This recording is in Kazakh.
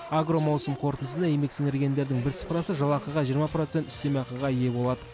агромаусым қорытындысында еңбек сіңіргендердің бір сыпырасы жалақыға жиырма процент үстеме ақыға ие болады